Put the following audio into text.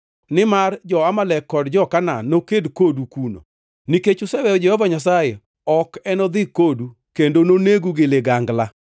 nimar jo-Amalek kod jo-Kanaan noked kodu kuno. Nikech useweyo Jehova Nyasaye, ok enodhi kodu kendo nonegu gi ligangla.”